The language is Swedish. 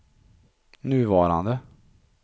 nuvarande